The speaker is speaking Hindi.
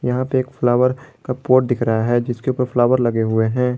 यहाँ पे एक फ्लॉवर का पॉट दिख रहा है जिसके ऊपर फ्लॉवर लगे हुए हैं।